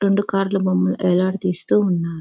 రెండు కార్ ల బొమ్మలు యలదా తీస్తూ ఉన్నారు.